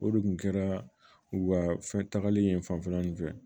O de kun kɛra u ka fɛn tagali ye fanfɛla nin fɛ